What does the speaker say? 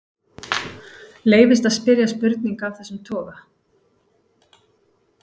Leyfist að spyrja spurninga af þessum toga?